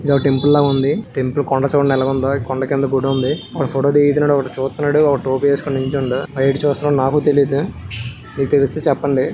ఇది ఒక టెంపుల్ లాగా ఉంది టెంపుల్ కొండ చివరన ఎలా ఉందో కొండ కింద గుడి ఉంది ఒకడు ఫోటో దిగుతున్నాడు ఒకటి చూస్తున్నాడు టోపీ వేసుకొని నిల్చున్నాడు ఆడు ఎటు చూస్తున్నాడో నాకు తెలియట్లేదు మీకు తెలిస్తే చెప్పండి.